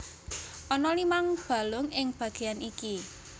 Ana limang balung ing bagéan iki